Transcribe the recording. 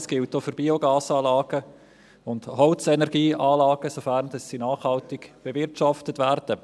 Dies gilt auch für Biogasanlagen und Holzenergieanlagen, sofern sie nachhaltig bewirtschaftet werden.